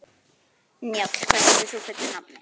Njáll, hvað heitir þú fullu nafni?